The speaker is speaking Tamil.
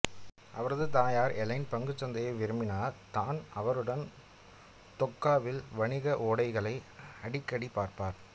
அவரது தாயார் எலைன் பங்குச் சந்தையை விரும்பினார் டான் அவருடன் தொக்காவில் வணிக ஓடைகளை அடிக்கடி பார்ப்பார்